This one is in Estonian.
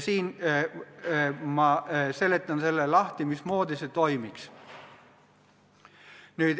Ma seletan lahti, mismoodi see toimiks.